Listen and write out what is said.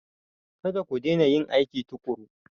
Kada ku daina yin aiki tuƙuru!